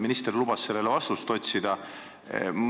Minister lubas sellele vastuse otsida.